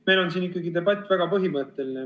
Meil on siin ikkagi debatt väga põhimõtteline.